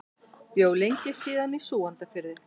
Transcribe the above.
Bjó lengi síðan í Súgandafirði.